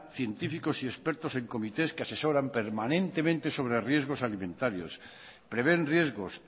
científicos y expertos en comités que asesoran permanentemente sobre riesgos alimentarios prevén riesgos